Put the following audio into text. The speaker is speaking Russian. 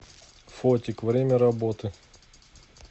фотик время работы